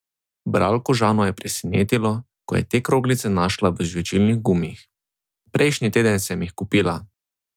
Bralko Žano je presenetilo, ko je te kroglice našla v žvečilnih gumijih: "Prejšnji teden sem jih kupila.